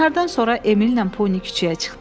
Nahardan sonra Emilnən Poni küçəyə çıxdılar.